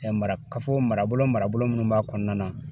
marakafo marabolo marabolo minnu b'a kɔnɔna na